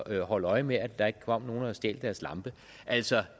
at holde øje med at der ikke kom nogen og stjal deres lampe altså